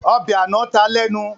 Ọbẹ̀ àná ta lẹ́nu